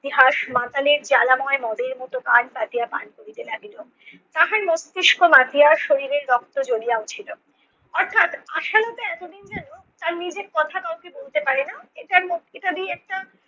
ইতিহাস মাতালে জ্বালাময় মদের মতো কান পাতিয়া পান করিতে লাগিল। তাহার মস্তিস্ক মাতিয়া শরীরের রক্ত জমিয়ে উঠিল। অর্থাৎ আসামিরা এতদিন যেন তার নিজের কথা কাউকে বলতে পারে না এটার মো~ এটা দিয়ে একটা